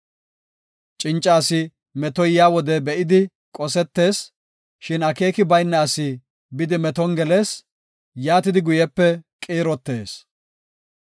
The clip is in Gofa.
Cinca asi metoy yaa wode be7idi qosetees; shin akeeki bayna asi bidi meton gelees; yaatidi guyepe qiirotees.